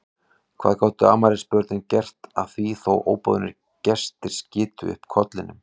Hvað gátu afmælisbörnin gert að því þó að óboðnir gestir skytu upp kollinum?